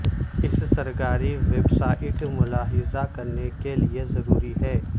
اس سرکاری website ملاحظہ کرنے کے لئے ضروری ہے